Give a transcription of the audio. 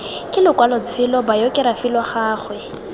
ke lokwalotshelo bayokerafi lwa gagwe